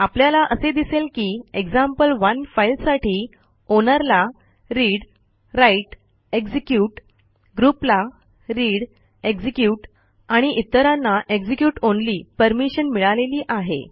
आपल्याला असे दिसेल की एक्झाम्पल1 फाईलसाठी आउनर ला readwriteएक्झिक्युट groupला readएक्झिक्युट आणि इतरांना execute ऑनली परमिशन मिळालेली आहे